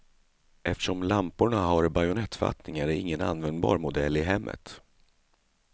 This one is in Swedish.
Eftersom lamporna har bajonettfattning är det ingen användbar modell i hemmet.